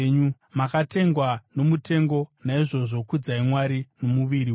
makatengwa nomutengo. Naizvozvo kudzai Mwari nomuviri wenyu.